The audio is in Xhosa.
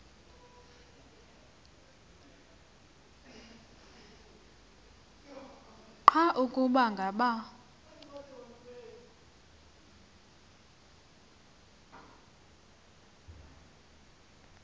nqa ukuba ngaba